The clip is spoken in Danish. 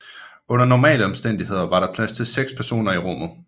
Under normale omstændigheder var der plads til 6 personer i rummet